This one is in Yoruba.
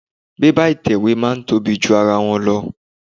Bébà ìtẹ̀wé máa ń tóbi ju ara wọn lọ.